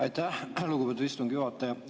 Aitäh, lugupeetud istungi juhataja!